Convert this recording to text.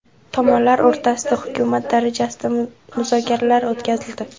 Tomonlar o‘rtasida hukumat darajasida muzokaralar o‘tkazildi.